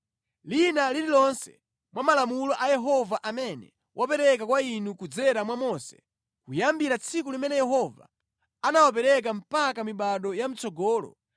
lina lililonse mwa malamulo a Yehova amene wapereka kwa inu kudzera mwa Mose, kuyambira tsiku limene Yehova anawapereka mpaka mibado ya mʼtsogolo,